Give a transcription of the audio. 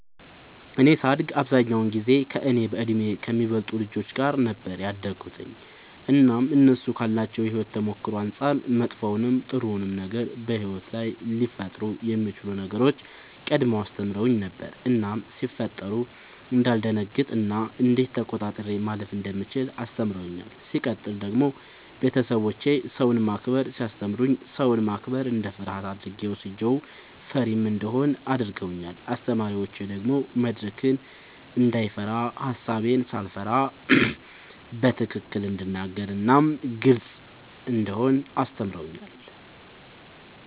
እኔ ሳድግ አብዛኛውን ጊዜ ከእኔ በእድሜ ከሚበልጡ ልጆች ጋር ነበር ያደግሁትኝ እናም እነሱ ካላቸው የሕይወት ተሞክሮ አንጻር መጥፎውንም ጥሩውንም ነገር በሕይወት ላይ ሊፈጠሩ የሚችሉ ነገሮችን ቀድመው አስተምረውኝ ነበር እናም ሲፈጠሩ እንዳልደነግጥ እና እንዴት ተቆጣጥሬ ማለፍ እንደምችል አስተምረውኛል። ሲቀጥል ደግሞ ቤተሰቦቼ ሰውን ማክበርን ሲያስተምሩኝ ሰውን ማክበር እንደ ፍርሃት አድርጌ ወስጄው ፈሪም እንደሆን አድርገውኛል። አስተማሪዎቼ ደግሞ መድረክን እንዳይፈራ ሐሳቤን ሳልፈራ በትክክል እንድናገር እናም ግልጽ እንደሆን አስተምረውኛል።